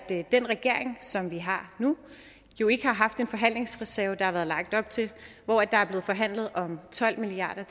den regering som vi har nu jo ikke har haft en forhandlingsreserve hvor der har været lagt op til og forhandlet om tolv milliard